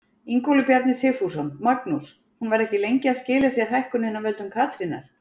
Ingólfur Bjarni Sigfússon: Magnús, hún var ekki lengi að skila sér hækkunin af völdum Katrínar?